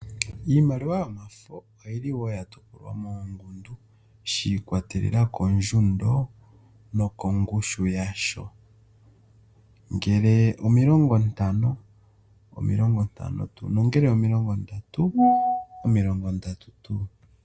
Iimaliwa oyi li yatopolwa moongundu shiikwatelela koondjundo nokongushu yasho ,ngele omilongontano omilongontano tuu nongele omilongonadatu omilongondatu tuu.